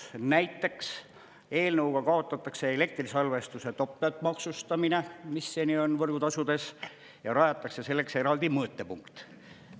Näiteks, eelnõuga kaotatakse elektrisalvestuse topeltmaksustamine, mis seni on võrgutasudes, ja rajatakse selleks eraldi mõõtepunkt.